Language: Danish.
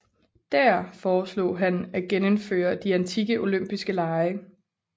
Dér foreslog han at genindføre de antikke olympiske lege